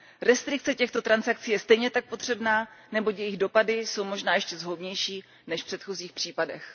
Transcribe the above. Restrikce těchto transakcí je stejně tak potřebná, neboť jejich dopady jsou možná ještě zhoubnější než v předchozích případech.